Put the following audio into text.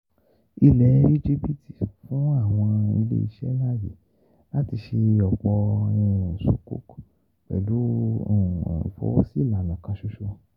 Ilẹ̀ Íjíbítì fún àwọn ilé-iṣẹ́ láàyè láti ṣe ọ̀pọ̀ sukuk pẹ̀lú ìfọwọ́sí ìlànà kan ṣoṣo